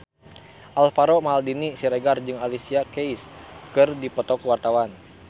Alvaro Maldini Siregar jeung Alicia Keys keur dipoto ku wartawan